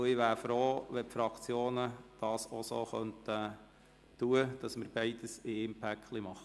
Ich wäre froh, wenn die Fraktionen das so fortführen könnten, beide Aspekte zusammen abzuhandeln.